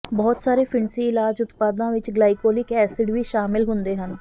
ਬਹੁਤ ਸਾਰੇ ਫਿਣਸੀ ਇਲਾਜ ਉਤਪਾਦਾਂ ਵਿੱਚ ਗਲਾਈਕੋਲਿਕ ਐਸਿਡ ਵੀ ਸ਼ਾਮਿਲ ਹੁੰਦੇ ਹਨ